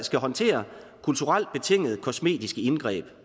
skal håndtere kulturelt betingede kosmetiske indgreb